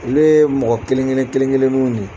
Ulu ye mɔgɔ kelen-kelen kelen-keleniw ne.